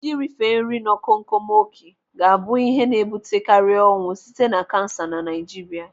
Ị rife nri nọ komkom oké ga-abụ ihe na-ebute karị ọnwụ site na kansa na Naijiria.